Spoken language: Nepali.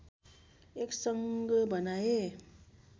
एक सङ्घ बनाए